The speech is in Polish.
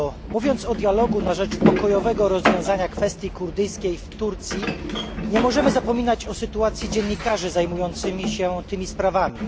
Mówiąc o dialogu na rzecz pokojowego rozwiązania kwestii kurdyjskiej w Turcji, nie możemy zapominać o sytuacji dziennikarzy zajmujących się tymi sprawami.